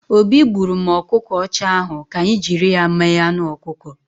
Obi gburụ m ọkụkọ ọcha ahụ, ka anyị jiri ya mee anụ ọkụkọ